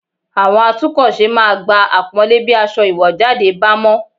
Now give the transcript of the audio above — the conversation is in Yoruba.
Àwọn atúnkọ̀ṣe máa gba àpọ́nlé bí aṣọ ìwọ̀jáde bá mọ́